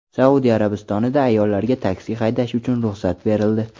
Saudiya Arabistonida ayollarga taksi haydash uchun ruxsat berildi.